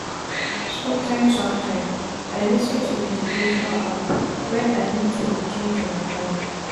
somtim somtim i lis ten to meditation app when i need to change my mind.